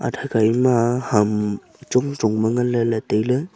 athakha ima ham chong chong ma nganley ley tailey.